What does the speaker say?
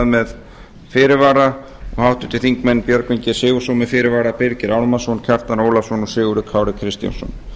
með fyrirvara og háttvirtir þingmenn björgvin g sigurðsson með fyrirvara birgir ármannsson kjartan ólafsson og sigurður kári kristjánsson háttvirtur